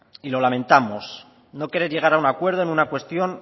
y lo lamentamos no querer llegar a un acuerdo en una cuestión